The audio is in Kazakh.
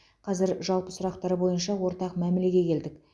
қазір жалпы сұрақтар бойынша ортақ мәмілеге келдік